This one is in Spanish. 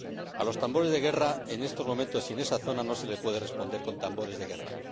A los tambores de guerra, en estos momentos y en esa zona, no se les puede responder con tambores de guerra.